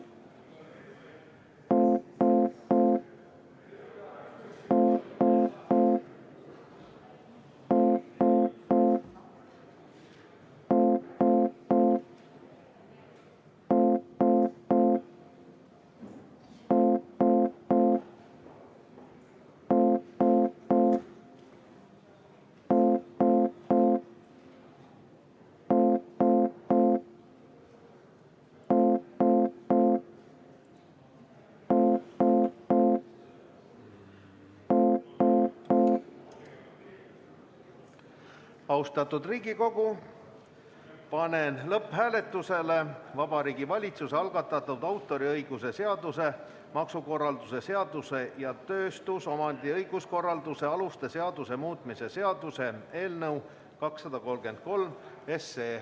Austatud Riigikogu, panen lõpphääletusele Vabariigi Valitsuse algatatud autoriõiguse seaduse, maksukorralduse seaduse ja tööstusomandi õiguskorralduse aluste seaduse muutmise seaduse eelnõu 233.